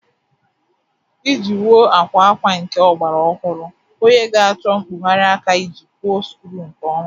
Iji wuo akwa akwa nke ọgbara ọhụrụ, onye ga-achọ mkpụgharị aka iji kwọọ skru nke ọma